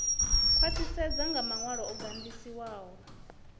khwaṱhisedzwa nga maṅwalo o gandiswaho